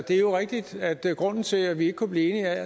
det er jo rigtigt at grunden til at vi ikke kunne blive enige